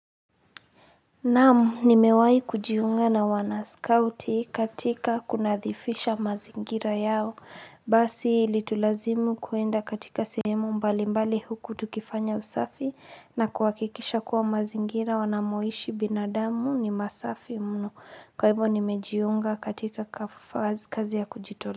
Naam nimewahi kujiunga na wanascouti katika kunadhifisha mazingira yao Basi ilitulazimu kuenda katika sehemu mbali mbali huku tukifanya usafi na kuhakikisha kuwa mazingira wanamoishi binadamu ni masafi mno. Kwa hivo nimejiunga katika kazi ya kujitolea.